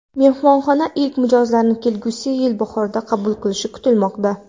Mehmonxona ilk mijozlarni kelgusi yil bahorida qabul qilishi kutilmoqda.